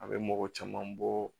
A bɛ mɔgɔ caman bɔ